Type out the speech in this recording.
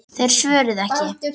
Þeir svöruðu ekki.